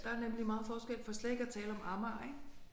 Der er nemlig meget forskel for slet ikke at tale om Amager ik